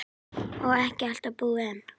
Og ekki allt búið enn.